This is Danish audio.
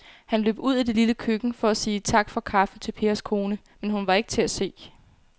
Han løb ud i det lille køkken for at sige tak for kaffe til Pers kone, men hun var ikke til at se.